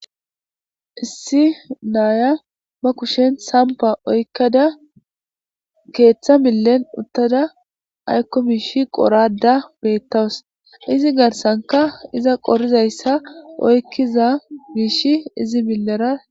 Issi naya be kushshenni saniffa oyikkada keththa millenni uttada ayikko mishshi qorada betawus izzi garissankka izza qorizayissa oyikkiza mishshi izzi milera